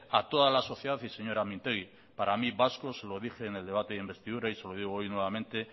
a toda la sociedad y señora mintegi lo dije en el debate de investidura y se lo digo hoy nuevamente